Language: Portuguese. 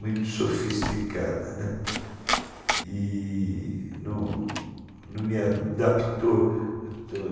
muito sofisticada, né, e não não me adaptou.